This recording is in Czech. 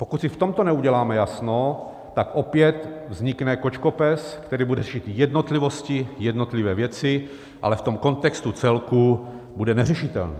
Pokud si v tomto neuděláme jasno, tak opět vznikne kočkopes, který bude řešit jednotlivosti, jednotlivé věci, ale v tom kontextu celku bude neřešitelný.